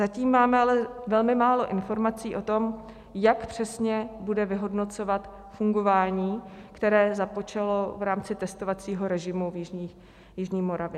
Zatím máme ale velmi málo informací o tom, jak přesně bude vyhodnocovat fungování, které započalo v rámci testovacího režimu na jižní Moravě.